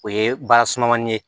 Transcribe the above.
O ye ba sumanmani ye